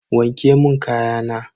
Wanke mun kayana.